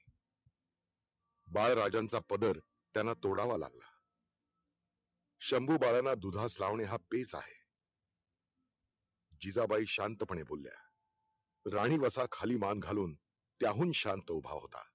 बाळराजांचा पदर त्यांना तोडावा लागला शंभू बाळाला दुधास लावणे हा पेज आहे जिजाबाई शांतपणे बोलल्या राणी वसा खाली मान घालून त्याहून शांत उभा होता